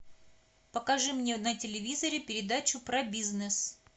покажи мне на телевизоре передачу про бизнес